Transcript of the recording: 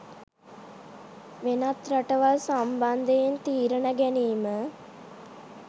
වෙනත් රටවල් සම්බන්ධයෙන් තීරණ ගැනීම